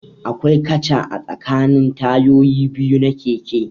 Akwai katcha a tsakanin tayoyi biyu na keke